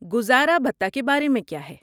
گزارا بھتہ کے بارے میں کیا ہے؟